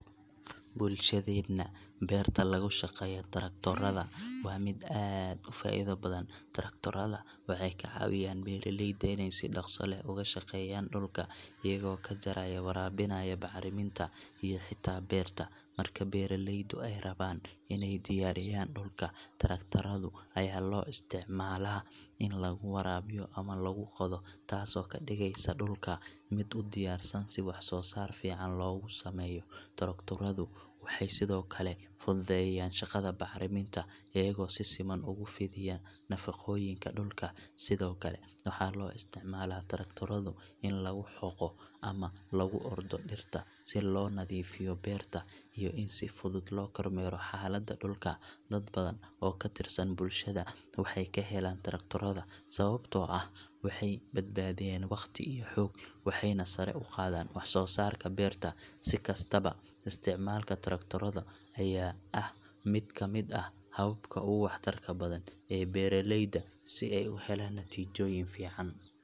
Bulshadeena, beerta lagu shaqeeyo traktorada waa mid aad u faa'iido badan. Traktorada waxay ka caawiyaan beeraleyda inay si dhaqso leh uga shaqeeyaan dhulka, iyagoo ka jaraya, waraabinaya, bacriminta, iyo xitaa beerta. Marka beeralaydu ay rabaan inay diyaariyaan dhulka, traktorada ayaa loo isticmaalaa in lagu waraabiyo ama lagu qodo, taasoo ka dhigaysa dhulka mid u diyaarsan si wax-soo-saar fiican loogu sameeyo. Traktoradu waxay sidoo kale fududeeyaan shaqada bacriminta, iyagoo si siman ugu fidiya nafaqooyinka dhulka. Sidoo kale, waxaa loo isticmaalaa traktorada in lagu xoqo ama lagu ordo dhirta si loo nadiifiyo beerta iyo in si fudud loo kormeero xaaladda dhulka. Dad badan oo ka tirsan bulshada waxay ka helaan traktorada, sababtoo ah waxay badbaadiyaan waqti iyo xoog, waxayna sare u qaadaan wax-soo-saarka beerta. Si kastaba, isticmaalka traktorada ayaa ah mid ka mid ah hababka ugu waxtarka badan ee beeraleyda si ay u helaan natiijooyin fiican.